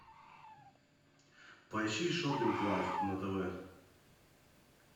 поищи шоппинг лайф на тв